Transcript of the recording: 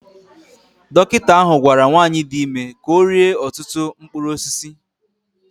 Dọkịta ahụ gwara nwanyị dị ime ka ọ rie ọtụtụ mkpụrụ osisi